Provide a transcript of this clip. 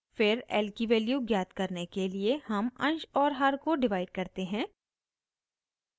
फिर l की value ज्ञात करने के लिए हम अंश और हर को डिवाइड करते हैं